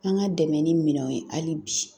An ka dɛmɛ ni minɛnw ye hali bi